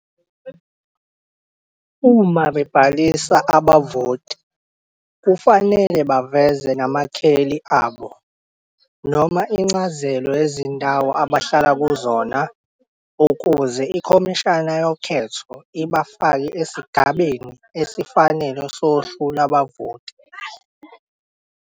Uma bebhalisa abavoti kufanele baveze namakheli abo noma incazelo yezindawo abahlala kuzona ukuze iKhomishana yoKhetho ibafake esigabeni esifanele sohlu lwabavoti.